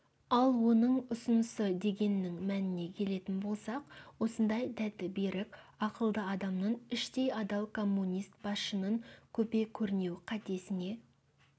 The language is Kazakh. ал оның ұсынысы дегеннің мәніне келетін болсақ осындай дәті берік ақылды адамның іштей адал коммунист басшының көпе-көрнеу қатесіне